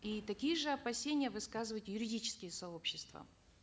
и такие же опасения высказывают юридические сообщества